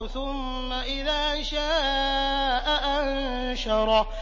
ثُمَّ إِذَا شَاءَ أَنشَرَهُ